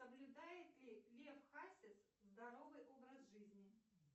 соблюдает ли лев хасис здоровый образ жизни